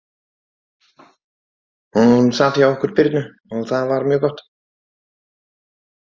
Hún sat hjá okkur Birnu og það var mjög gott.